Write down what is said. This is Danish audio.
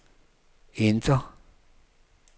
enter